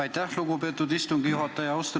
Aitäh, lugupeetud istungi juhataja!